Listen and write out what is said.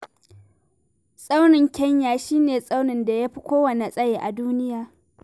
Tsaunin Kenya shi ne tsaunin da ya fi kowanne tsayi a duniya.